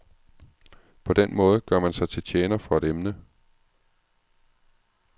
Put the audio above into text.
På den måde gør man sig til tjener for et emne.